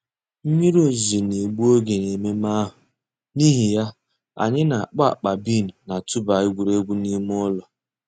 Mmírí òzùzọ̀ nà-ègbù ògè n'èmẹ̀mmẹ̀ àhụ̀, n'ìhì yà, ànyị̀ nà-àkpọ̀ àkpà bean nà-̀tụ̀bà ègwè́ré́gwụ̀ n'ìmè ǔlọ̀.